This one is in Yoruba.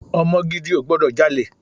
Ọmọ gidi ò gbọdọ̀ jalè.